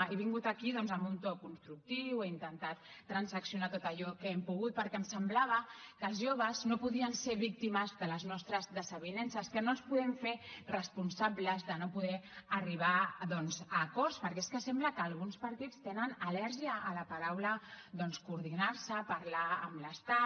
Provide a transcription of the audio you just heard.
he vingut aquí doncs amb un to constructiu he intentat transaccionar tot allò que hem pogut perquè em semblava que els joves no podien ser víctimes de les nostres desavinences que no els podem fer responsables de no poder arribar doncs a acords perquè és que sembla que alguns partits tenen al·lèrgia a la paraula doncs coordinar se a parlar amb l’estat